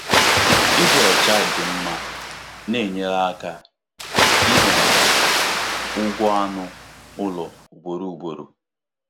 Ịdị ọcha dị mma na-enyere aka ịzenarị ụgwọ anụ ụlọ ugboro ugboro.